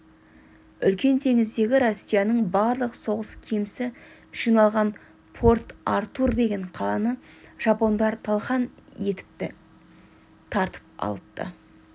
үлкен теңіздегі россияның барлық соғыс кемесі жиналған порт-артур деген қаланы жапондар талқан етіпті тартып алыпты